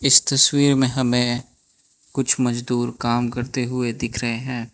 इस तस्वीर में हमें कुछ मजदूर काम करते हुए दिख रहे हैं।